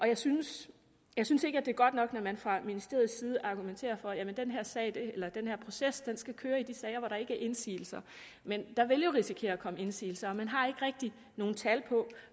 jeg synes jeg synes ikke det er godt nok når man fra ministeriets side argumenterer for at den her proces skal køre i de sager hvor der ikke er indsigelser men der vil jo risikere at komme indsigelser og man har ikke rigtig nogen tal på